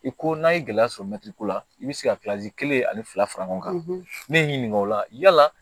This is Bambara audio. I ko n'a ye gɛlɛya sɔrɔ ko la i bi se ka kelen ani fila fara ɲɔgɔn kan ne ye n ɲininka o la yala